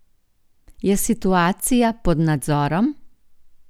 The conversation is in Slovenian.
Je situacija pod nadzorom?